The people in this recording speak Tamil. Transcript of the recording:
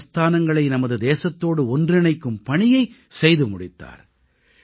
அவர் சமஸ்தானங்களை நமது தேசத்தோடு ஒன்றிணைக்கும் பணியைச் செய்து முடித்தார்